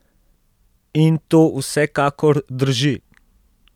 In to vsekakor drži!